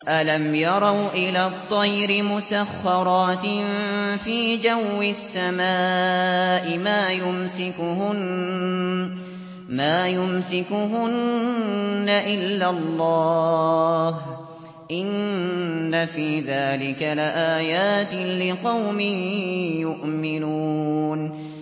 أَلَمْ يَرَوْا إِلَى الطَّيْرِ مُسَخَّرَاتٍ فِي جَوِّ السَّمَاءِ مَا يُمْسِكُهُنَّ إِلَّا اللَّهُ ۗ إِنَّ فِي ذَٰلِكَ لَآيَاتٍ لِّقَوْمٍ يُؤْمِنُونَ